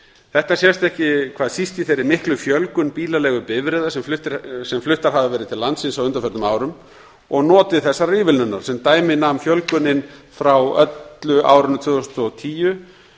þetta sést ekki hvað síst í þeirri miklu fjölgun bílaleigubifreiða sem fluttar hafa til landsins á undanförnum árum og notið þessarar ívilnunar sem dæmi nam fjölgunin frá öllu árinu tvö þúsund og tíu